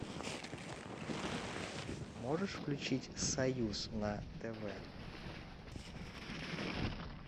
можешь включить союз на тв